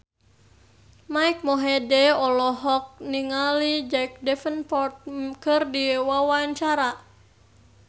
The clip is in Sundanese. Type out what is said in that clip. Mike Mohede olohok ningali Jack Davenport keur diwawancara